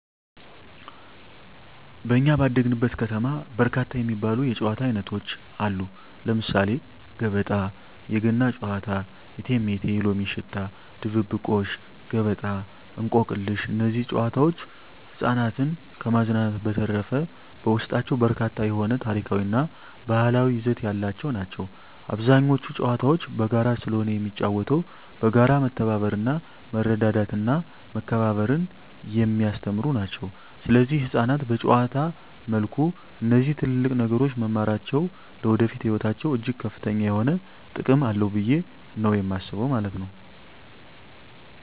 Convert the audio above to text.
በኛ ባደግንበት ከተማ በርካታ የሚባሉ የጨዋታ አይነቶች አሉ ለምሳሌ ገበጣ: የገና ጨዋታ እቴሜቴ የሎሚ ሽታ ድብብቆሽ ገበጣ እንቆቅልሽ እነዚህ ጨዋታዎች ህፃናትን ከማዝናናት በዠተረፈ በውስጣቸው በርካታ የሆነ ታሪካዊ እና ባህላዊ ይዘት ያላቸው ናቸው አብዛኞቹ ጨዋታዎች በጋራ ስለሆነ የሚጫወተው በጋራ መተባበርና መረዳዳትና መከባበርን የሚያስተምሩ ናቸው ሰለዚህ ህፃናት በጨዋታ መልኩ እነዚህ ትልልቅ ነገሮች መማራቸው ለወደፊቱ ህይወታቸው እጅግ ከፍተኛ የሆነ ጥቅም አለው ብየ ነው የማስበው ማለት ነው።